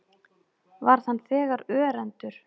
Varð hann þegar örendur.